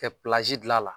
Kɛ dilan a la